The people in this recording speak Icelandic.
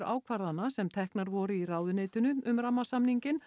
ákvarðana sem teknar voru í ráðuneytinu um rammasamning